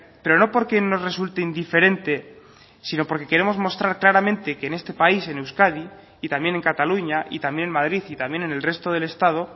pero no porque nos resulte indiferente sino porque queremos mostrar claramente que en este país en euskadi y también en cataluña y también en madrid y también en el resto del estado